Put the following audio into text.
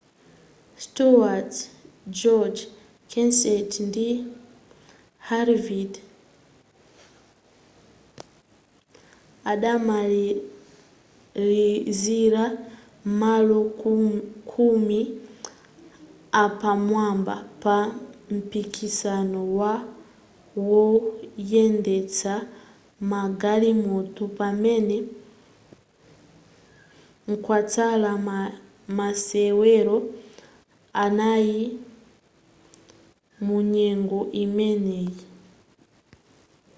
stewart gordon kenseth ndi harvick adamalizira m'malo khumi apamwamba pa mpikisano wa woyendetsa magalimoto pamene kwatsala masewero anayi munyengo imeneyi